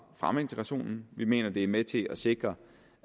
fremme integrationen vi mener at det er med til at sikre